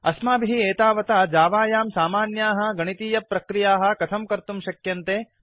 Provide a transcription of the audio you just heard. अस्माभिः एतावता जावायां सामान्याः गणीतीयप्रक्रियाः कथं कर्तुं शक्यन्ते